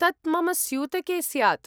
तत् मम स्यूतके स्यात्।